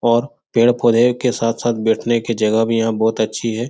और पेड़-पौधे के साथ-साथ बैठने के जगह भी यहाँ बहोत अच्छी है।